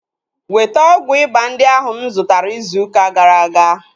Weta ọgwụ ịba ndị ahu mụ zụtara izu ụka gara aga!